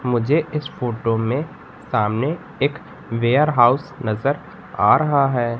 मुझे इस फोटो में सामने एक वेयरहाउस नजर आ रहा है।